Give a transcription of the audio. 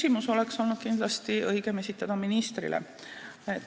No oleks olnud kindlasti õigem esitada see küsimus ministrile.